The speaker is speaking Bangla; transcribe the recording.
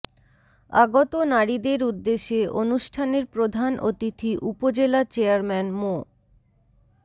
আগত নারীদের উদ্দেশে অনুষ্ঠানের প্রধান অতিথি উপজেলা চেয়ারম্যান মো